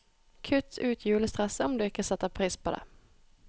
Kutt ut julestresset, om du ikke setter pris på det.